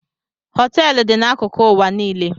Hoteelu dị n'akụkụ ụwa niile.